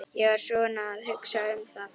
Ég var svona að hugsa um það.